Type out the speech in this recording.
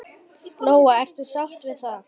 Lóa: Ertu sáttur við það?